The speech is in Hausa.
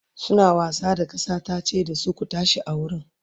suna wasa da kasa tace da su "ku tashi a wurin!"